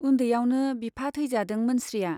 उन्दैयावनो बिफा थैजादों मोनस्रिया।